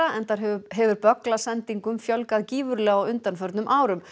enda hefur fjölgað gífurlega á undanförnum árum